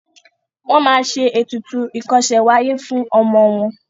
wón má ṣe ètùtù ikose w'aye fún ọmọ wón.